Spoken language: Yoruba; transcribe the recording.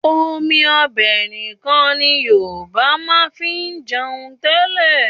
Omi ọbẹ̀ nìkan ni Yorùbá máa ń fi jẹun tẹ́lẹ̀